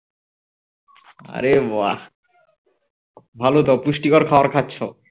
আরে বাহ্ ভালো তো পুষ্টিকর খাবার খাচ্ছ